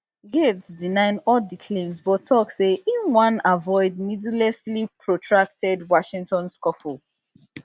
gaetz deny all di claims but tok say im wan avoid needlessly protracted washington scuffle